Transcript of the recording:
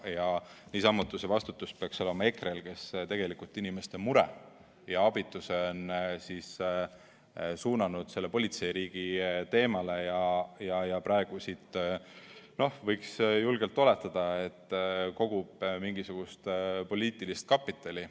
Ja niisamuti see vastutus peaks olema EKRE-l, kes inimeste mure ja abituse on suunanud sellele politseiriigi teemale ja praegu siit, no võiks julgelt oletada, kogub mingisugust poliitilist kapitali.